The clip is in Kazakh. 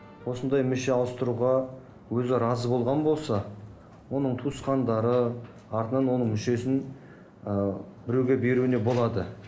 осындай мүше ауыстыруға өзі разы болған болса оның туысқандары артынан оның мүшесін ы біреуге беруіне болады